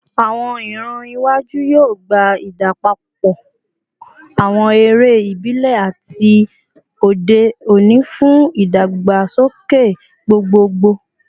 Awọn iran iwaju yoo gba idapọpọ awọn ere ibile ati ti ode oni fun idagbasoke gbogbogbo